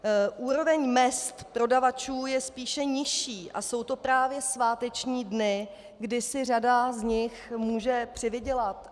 Úroveň mezd prodavačů je spíše nižší a jsou to právě sváteční dny, kdy si řada z nich může přivydělat.